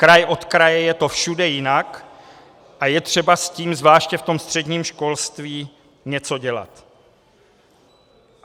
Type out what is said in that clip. Kraj od kraje je to všude jinak a je třeba s tím zvláště v tom středním školství něco dělat.